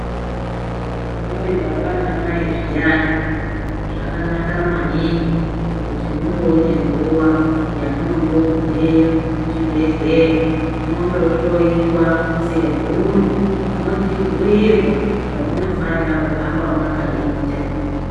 Muri baba namai zviyani zvakanaka maningi kuti mumboone nguwa yamunombogumeyo kuchibhehleya mondohlowiwa semhuri mochibhuirwa zvamunofanira kuhamba makaita.